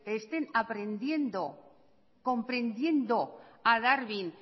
estén aprendiendo comprendiendo a darwin